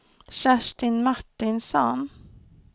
Kerstin Martinsson